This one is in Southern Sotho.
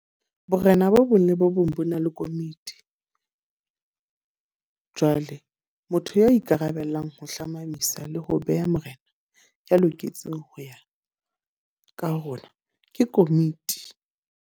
Borena bo bong le bo bong bo na le komiti. Jwale motho ya ikarabellang ho hlomamisa le ho beha morena ya loketseng ho ya ka hona. Ke komiti.